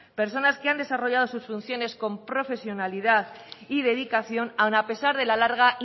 personas que han desarrollado sus funciones con profesionalidad y dedicación aun a pesar de la larga